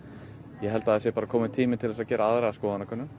ég held það sé kominn tími til að gera aðra skoðanakönnun